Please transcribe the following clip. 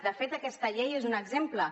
de fet aquesta llei n’és un exemple